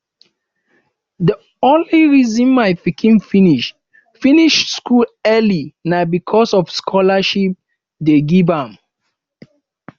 the only reason my pikin finish finish school early na because of the scholarship dey give am